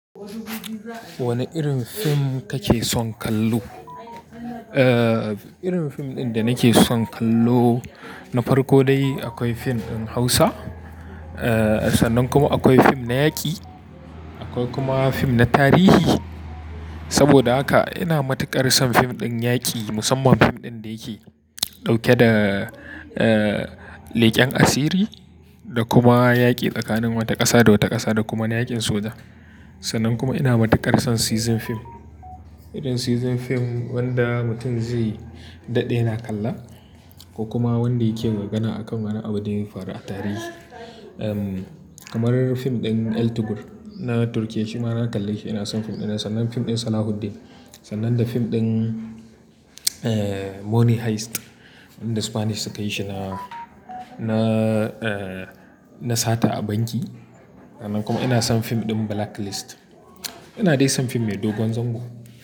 Wane irin fim kake son kallo? Eh, irin fim ɗin da nake son kallo na farko dai akwai fim ɗin Hausa, eh sannan kuma akwai fim na yaƙi, akwai kuma fim na tarihi. Saboda haka ina matuƙar son fim ɗin yaƙi musamman fim ɗin da yake dauke da, eh leƙen asiri da kuma yaƙi tsakanin wata ƙasa da wata ƙasa da kuma na yaƙin soja. Sannan kuma ina matuƙar son season fim, irin season fim wanda mutum zai daɗe yana kalla ko kuma wanda yake gargana akan wani abin da ya faru a tarihi. Ehm, kamar fim ɗin El Turco na Turkiyya, shi ma na kalle shi. Ina son fim ɗinnan, sannan fim ɗin Salahuddin, sannan da fim ɗin, eh Money Heist inda Spanish suka yi shi na, na, eh na sata a banki. Sannan kuma ina son fim ɗin Blacklist. Ina dai son fim mai dogon zango.